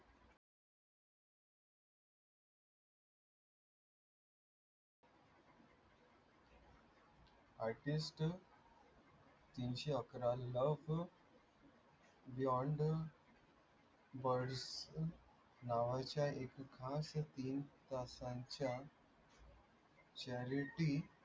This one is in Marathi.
it steel तीनशे अकरा